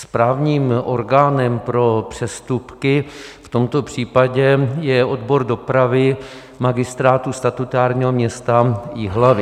Správním orgánem pro přestupky v tomto případě je odbor dopravy Magistrátu statutárního města Jihlavy.